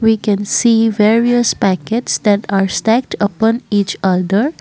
We can see various packets that are stacked upon each on that --